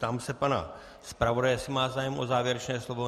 Ptám se pana zpravodaje, jestli má zájem o závěrečné slovo.